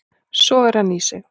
Sogar hann í sig.